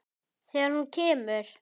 Þegar hún kemur.